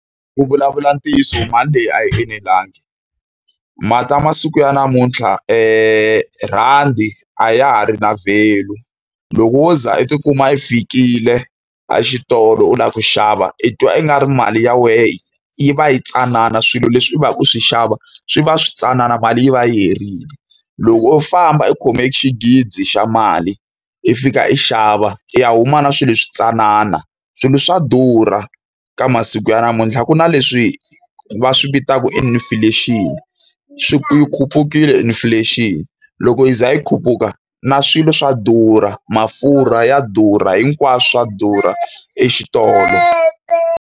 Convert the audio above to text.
Ku vulavula ntiyiso mali leyi a yi enelangi. masiku ya namuntlha rhandi a ya ha ri na value. Loko wo za i tikuma yi fikile a xitolo u lava ku xava, i twa ingari mali ya wena yi va yi tsanana swilo leswi u va ka u swi xava swi va swi tsanana mali yi va yi herile. Loko u famba u khome xinghizi xa mali, i fika i xava i ya huma na swilo swi tsanana. Swilo swa durha ka masiku ya namuntlha. Ku na leswi va swi vitaka inflation, yi khupukile inflation. Loko yi za yi khuphuka na swilo swa durha. Mafurha ya durha, hinkwaswo swa durha exitolo.